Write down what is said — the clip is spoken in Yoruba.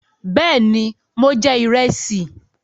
Bẹ́ẹ̀ ni, mo jẹ ìrẹsì.